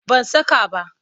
Ban saka ba.